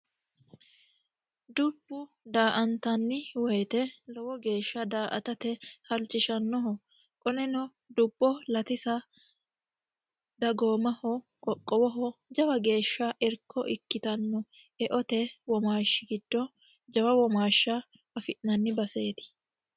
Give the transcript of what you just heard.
DUbbu daantani woyiite daatate lowo geesha halchishanoho qoleno dubbo latisa qoqowoho dagoomaho jawa geeaha irko ikkitanno